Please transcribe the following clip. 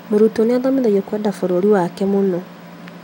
Mũrutwo nĩathomithagio kwenda bũrũri wake mũno